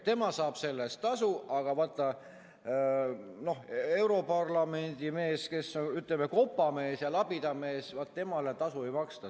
Tema saab selle eest tasu, aga vaata, europarlamendi mees, kes on kopamees ja labidamees, temale tasu ei maksta.